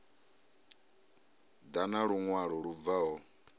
ḓa na luṅwalo lu bvaho